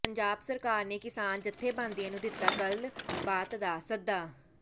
ਪੰਜਾਬ ਸਰਕਾਰ ਨੇ ਕਿਸਾਨ ਜਥੇਬੰਦੀਆਂ ਨੂੰ ਦਿੱਤਾ ਗੱਲਬਾਤ ਦਾ ਸੱਦਾ